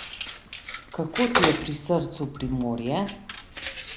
Kako ti je pri srcu Primorje?